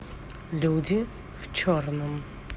люди в черном